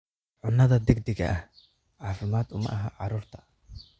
Cunnada degdega ah caafimaad uma aha carruurta.